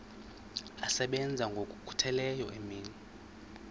asebenza ngokokhutheleyo imini